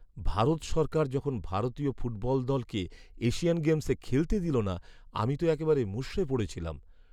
ভারত সরকার যখন ভারতীয় ফুটবল দলকে এশিয়ান গেমসে খেলতে দিলো না, আমি তো একেবারে মুষড়ে পড়েছিলাম।